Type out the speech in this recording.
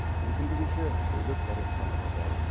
мүмкіндігінше бөлек дәретханаға бару